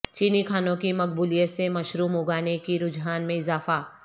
چینی کھانوں کی مقبولیت سے مشروم اگانے کے رجحان میں اضافہ